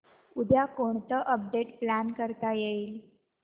उद्या कोणतं update plan करता येईल